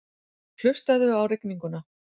Hlustaðu á rigninguna.